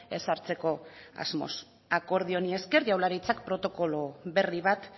ezartzeko asmoz akordio honi esker jaurlaritzak protokolo berri bat